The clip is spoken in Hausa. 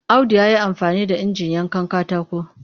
Audu ya yi amfani da injin yankan katako